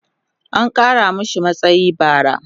an Kara mashi matsayi bara